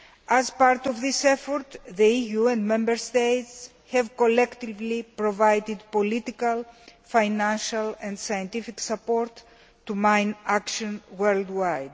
As part of this effort, the EU and Member States have collectively provided political, financial and scientific support to mine action worldwide.